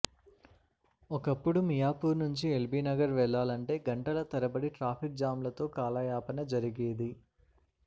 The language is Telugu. ఒకప్పుడు మియాపూర్ నుంచి ఎల్ బి నగర్ వెళ్ళాలంటే గంటల తరబడి ట్రాఫిక్ జాంలతో కాలయాపన జరిగేది